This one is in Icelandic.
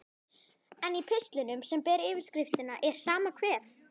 En í pistlinum, sem ber yfirskriftina Er sama hver?